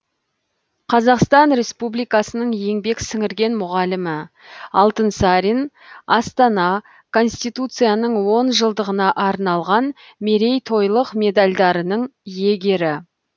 қазақстан республикасының еңбек сіңірген мұғалімі алтынсарин астана конституцияның он жылдығына арналған мерейтойлық медальдарының иегері